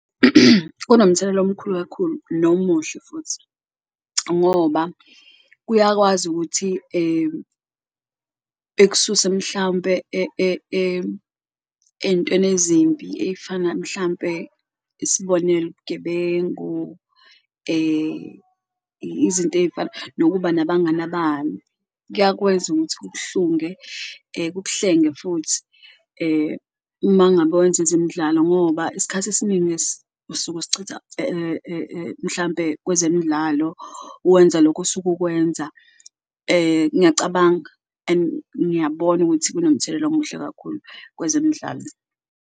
Kunomthelela omkhulu kakhulu nomuhle futhi ngoba kuyakwazi ukuthi ekususe mhlawumpe entweni ezimbi ey'fana mhlampe, isibonelo gebengu, izinto ey'fana nokuba nabangani abani kuyakwenza ukuthi kukuhlunge kukuhlenge futhi uma ngabe wenza ezemidlalo. Ngoba isikhathi esiningi usuke usichitha mhlampe kwezemidlalo wenza lokhu osuke ukwenza ngiyacabanga and ngiyabona ukuthi kunomthelela omuhle kakhulu kwezemidlalo.